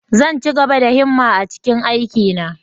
Zan ci gaba da himma a cikin aikina.